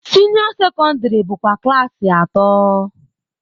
Senio secondary bụkwa klaasị atọ.